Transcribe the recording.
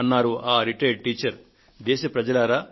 అని ఆ విశ్రాంత ఉపాధ్యాయురాలు తన మనోభావాలను ఉత్తరంలో పంచుకొన్నారు